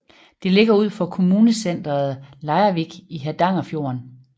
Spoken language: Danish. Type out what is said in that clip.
Det ligger ud for kommunecenteret Leirvik i Hardangerfjorden